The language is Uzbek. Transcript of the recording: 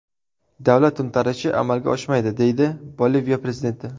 Davlat to‘ntarishi amalga oshmaydi”, deydi Boliviya prezidenti.